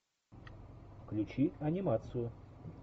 включи анимацию